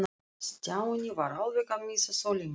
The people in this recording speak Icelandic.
Stjáni var alveg að missa þolinmæðina.